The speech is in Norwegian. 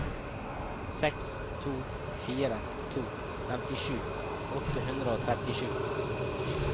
seks to fire to femtisju åtte hundre og trettisju